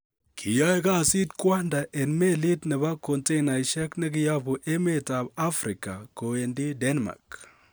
Kiyoe kasit kwanda en melit nebo kontenasiek nekiyobu emetab Africa kowendi Denmark.